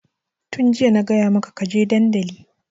Tun jiya na gaya maka ka je dandali!